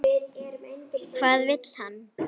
Hvað vill hann?